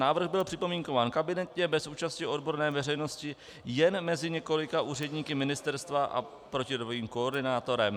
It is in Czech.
Návrh byl připomínkován kabinetně bez účasti odborné veřejnosti jen mezi několika úředníky ministerstva a protidrogovým koordinátorem.